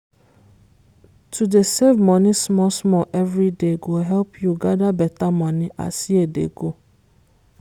to dey save money small small everyday go help you gather better money as year dey go.